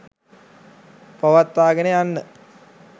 පවත්වාගෙන යන්න